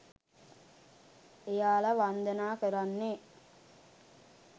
එයාල වන්දනා කරන්නෙ